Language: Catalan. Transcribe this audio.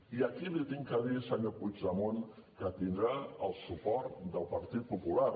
i aquí li haig de dir senyor puigdemont que tindrà el suport del partit popular